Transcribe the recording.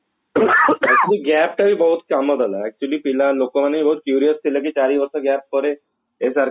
ବହୁତ କାମ ଦେଲା actually ପିଲା ଲୋକମାନେ ବି ବହୁତ curious ଥିଲେ କି ଚାରିବର୍ଷ gap ପରେ SRK